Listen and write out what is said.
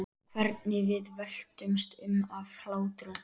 Hvernig við veltumst um af hlátri.